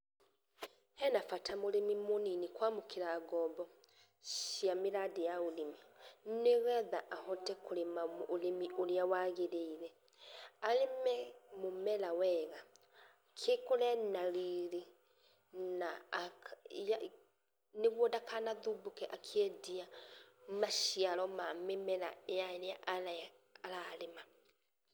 Hena bata mũrĩmi mũnini kũamũkĩra ngombo cia mĩradi ya ũrĩmi nĩgetha ahote kũrĩma ũrĩmi ũrĩa wagĩrĩire, arĩme mũmera wega, cikũre na riri na ah nĩgũo ndakanathũmbũke akĩendia maciaro ma mĩmera ĩrĩa ararĩma.